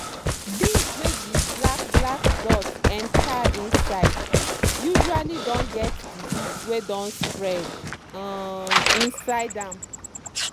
beans wey di black black dot enter inside usually don get disease wey don spread um inside am.